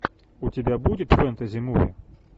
у тебя будет фэнтези муви